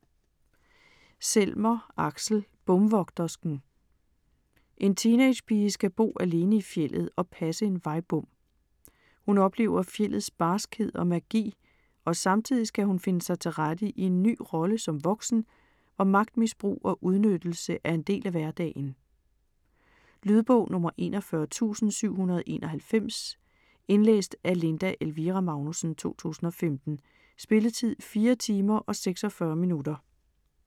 Selmer, Aksel: Bomvogtersken En teenagepige skal bo alene i fjeldet og passe en vejbom. Hun oplever fjeldets barskhed og magi, og samtidig skal hun finde sig til rette i en ny rolle som voksen, hvor magtmisbrug og udnyttelse er en del af hverdagen. Lydbog 41791 Indlæst af Linda Elvira Magnussen, 2015. Spilletid: 4 timer, 46 minutter.